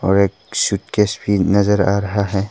और एक सूटकेस की नजर आ रहा है।